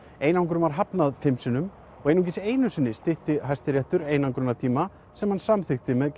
einangrun var hafnað fimm sinnum og einungis einu sinni stytti Hæstiréttur einangrunartíma sem hann samþykkti með